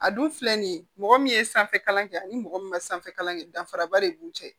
A dun filɛ nin ye mɔgɔ min ye sanfɛ kalan kɛ ani mɔgɔ min ma sanfɛ kalan kɛ danfaraba de b'u cɛ